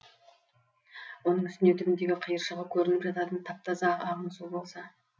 оның үстіне түбіндегі қиыршығы көрініп жататын тап таза ағын су болса